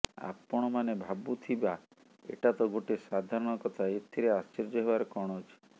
ଆପଣମାନେ ଭାବୁଥିବା ଏଟା ତ ଗୋଟେ ସାଧାରଣ କଥା ଏଥିରେ ଆଶ୍ଚର୍ଯ୍ୟ ହେବାର କଣ ଅଛି